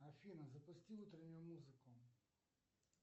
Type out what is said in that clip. афина запусти утреннюю музыку